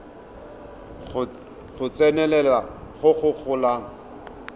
go tsenelela go go golang